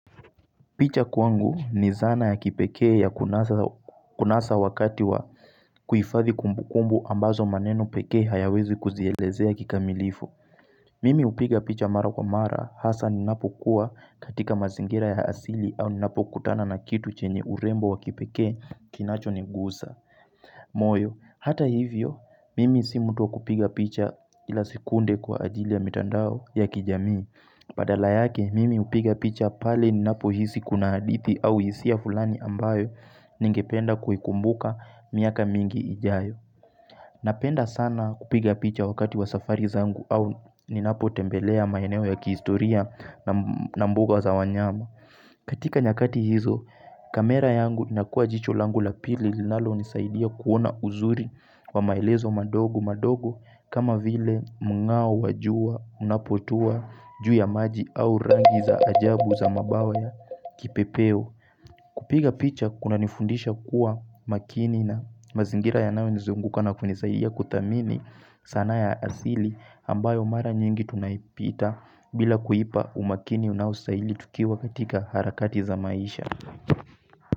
Picha kwangu ni zana ya kipekee ya kunasa wakati wa kuhifadhi kumbukumbu ambazo maneno pekee hayawezi kuzielezea kikamilifu. Mimi hupiga picha mara kwa mara hasa ninapokuwa katika mazingira ya asili au ninapokutana na kitu chenye urembo wa kipekee kinachonigusa. Moyo, hata hivyo, mimi si mtu wa kupiga picha kila sekunde kwa ajili ya mitandao ya kijamii. Badala yake mimi hupiga picha pale ninapohisi kuna hadithi au hisia fulani ambayo ningependa kuikumbuka miaka mingi ijayo Napenda sana kupiga picha wakati wa safari zangu au ninapotembelea maeneo ya kihistoria na mbuga za wanyama katika nyakati hizo, kamera yangu inakuwa jicho langu la pili linalonisaidia kuona uzuri wa maelezo madogo madogo kama vile mngao wa jua unapotua juu ya maji au rangi za ajabu za mabawa ya kipepeo. Kupiga picha kunanifundisha kuwa makini na mazingira yanayonizunguka na kunisaidia kuthamini sanaa ya asili ambayo mara nyingi tunaipita bila kuipa umakini unaostahili tukiwa katika harakati za maisha.